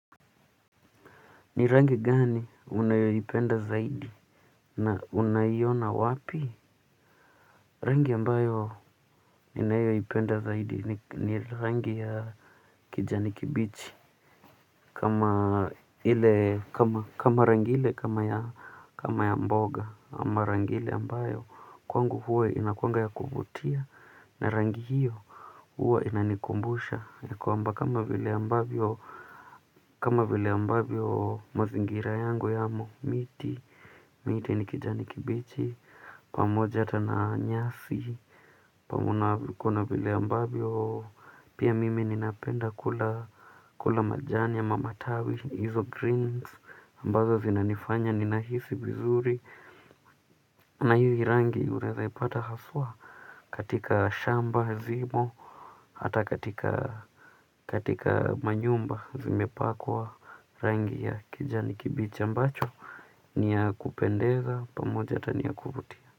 Ni rangi gani unayoipenda zaidi na unaiona wapi. Rangi ambayo ninayoipenda zaidi ni rangi ya kijani kibichi kama rangi ile kama ya mboga ama rangi ile ambayo kwangu huwa inakuwanga ya kuvutia na rangi hiyo huwa inanikumbusha ya kwamba kama vile ambavyo kama vile ambavyo mazingira yangu yamo miti miti ni kijani kibichi, pamoja hata na nyasi na kuna vile ambavyo, pia mimi ninapenda kula majani ama matawi, hizo greens, ambazo zinanifanya, ninahisi vizuri. Na hizi rangi unaezaipata haswa katika shamba, zimo, hata katika manyumba, zimepakwa rangi ya kijani kibichi ambacho ni ya kupendeza pamoja hata ni ya kuvutia.